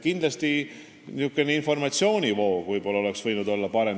Kindlasti oleks võinud informatsioonivoog parem olla.